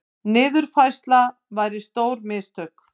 Niðurfærsla væri stór mistök